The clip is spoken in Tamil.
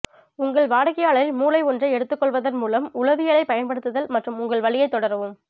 உங்கள் வாடிக்கையாளரின் மூளை ஒன்றை எடுத்துக் கொள்வதன் மூலம் உளவியலைப் பயன்படுத்துதல் மற்றும் உங்கள் வழியைத் தொடரவும்